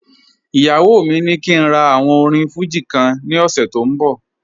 Iyawọ mi ni kí n rà àwòn orín Fuji kan ní òṣè tó n bọ̀